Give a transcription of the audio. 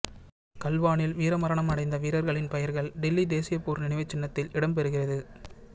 கல்வானில் வீரமரணம் அடைந்த வீரர்களின் பெயர்கள் டில்லி தேசிய போர் நினைவுச் சின்னத்தில் இடம் பெறுகிறது